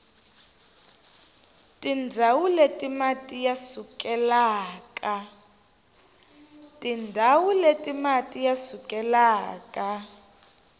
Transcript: tindzawu leti mati ya sukelaka